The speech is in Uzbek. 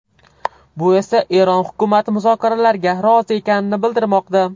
Bu esa Eron hukumati muzokaralarga rozi ekanini bildirmoqda.